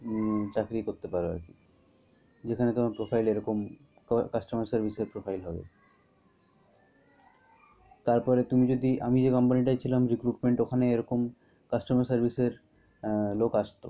হম চাকরি করতে পারো। যেখানে তোমার profile এরকম customer service এর profile হবে। তারপরে তুমি যদি আমি যেই company টায় ছিলাম recruitment ওখানে এরকম customer service এরআহ লোক আসতো।